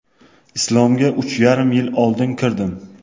Islomga uch yarim yil oldin kirdim.